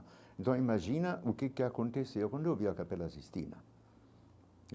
Então, imagina o que que aconteceu quando eu vi a capela Sistina.